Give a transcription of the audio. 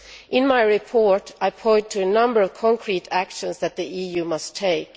In my report, I point to a number of concrete actions that the EU must take.